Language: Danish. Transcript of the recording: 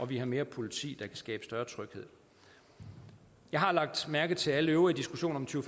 vi har mere politi der kan skabe større tryghed jeg har lagt mærke til alle øvrige diskussioner om to